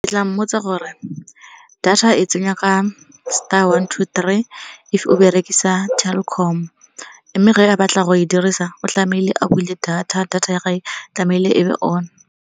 Ke tla mmotsa gore data e tsengwa ka star one two three if o berekisa Telkom. Mme ge a batla go e dirisa o tlamehile a bule data, data ya gage tlamehile e be on.